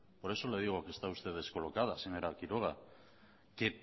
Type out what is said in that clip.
por eso le digo que está usted descolocada señora quiroga que